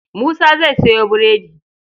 Musa zai sayo burodi.